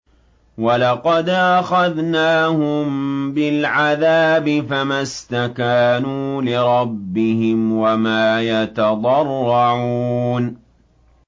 وَلَقَدْ أَخَذْنَاهُم بِالْعَذَابِ فَمَا اسْتَكَانُوا لِرَبِّهِمْ وَمَا يَتَضَرَّعُونَ